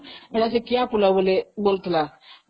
ସେଇଟା କିଆଫୁଲ ବୋଲି ବୋଲୁଥିଲା